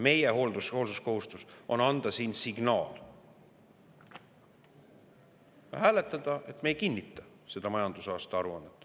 Meie hoolsuskohustus on anda siin hääletades signaal, et me ei kinnita seda majandusaasta aruannet.